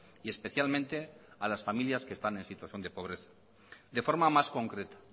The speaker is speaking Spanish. y especialmente a las familias que están en situación de pobreza de forma más concreta